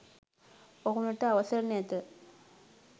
ඔහුනට අවසර නැත.